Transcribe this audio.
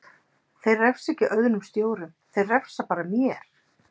Þeir refsa ekki öðrum stjórum, þeir refsa bara mér.